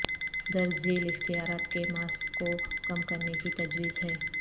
درج ذیل اختیارات کے ماسک کو کم کرنے کی تجویز ہے